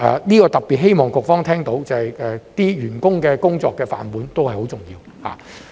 這點特別希望局方聽到，就是員工的工作飯碗都是很重要的。